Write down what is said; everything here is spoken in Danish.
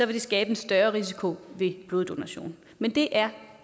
det skabe en større risiko ved bloddonation men det er